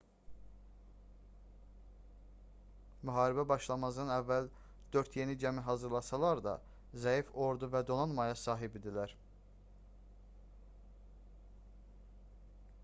müharibə başlamazdan əvvəl dörd yeni gəmi hazırlasalar da zəif ordu və donanmaya sahib idilər